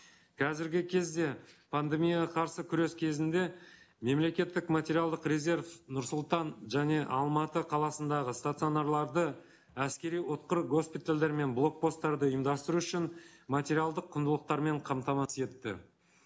қазіргі кезде пандемияға қарсы күрес кезінде мемлекеттік материалдық резерв нұр сұлтан және алматы қаласындағы стационарларды әскери ұтқыр госпитальдар мен блокпосттарды ұйымдастыру үшін материалдық құндылықтармен қамтамасыз етті